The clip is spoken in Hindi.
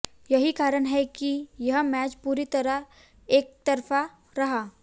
यही कारण है कि यह मैच पूरी तरह एकतरफा रहा